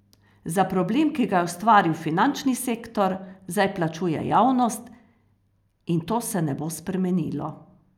Za problem, ki ga je ustvaril finančni sektor, zdaj plačuje javnost, in to se ne bo spremenilo.